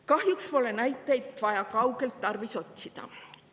Kahjuks pole näiteid vaja kaugelt tarvis otsida.